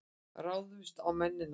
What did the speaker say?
Ráðumst á mennina!